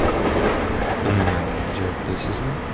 Umuman iloji yo‘qmi, deysizmi?